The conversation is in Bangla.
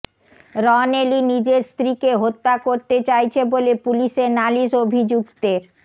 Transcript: রন এলি নিজের স্ত্রীকে হত্যা করতে চাইছে বলে পুলিশে নালিশ অভিযুক্তের